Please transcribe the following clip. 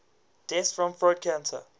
deaths from throat cancer